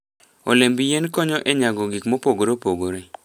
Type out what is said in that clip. Olemb yien konyo e nyago gik mopogore opogore.